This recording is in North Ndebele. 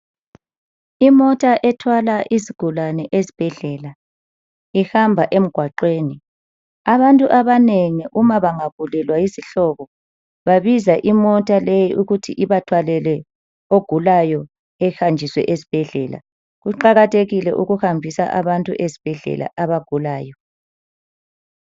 Imota ethwala izigulane esibhedlela ihamba emgwaqweni. Abantu abanengi uma bangagulelwa yizihlobo babiza imota leyi ukuthi ibathwalele ogulayo ehanjiswe esibhedlela. Kuqakathekile ukuhambisa abantu esibhedlela abagulayo.